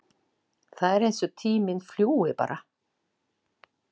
Það er eins og tíminn fljúgi bara!